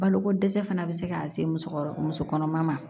Baloko dɛsɛ fana bɛ se ka se musokɔrɔba muso kɔnɔma ma